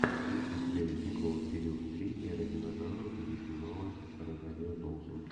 есть ли у тебя ледниковый период три эра динозавров где снималась розарио доусон